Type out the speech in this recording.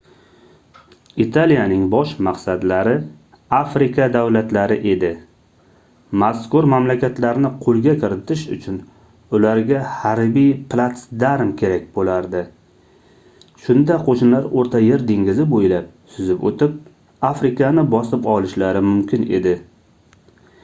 italiyaning bosh maqsadlari afrika davlatlari edi mazkur mamlakatlarni qoʻlga kiritish uchun ularga harbiy platsdarm kerak boʻlardi shunda qoʻshinlar oʻrta yer dengizi boʻylab suzib oʻtib afrikani bosib olishlari mumkin edi